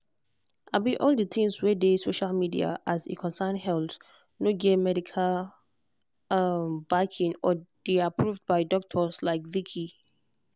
all the things wey dey social media as e concern health no get get medical um backing or dey approved by doctor like vickie.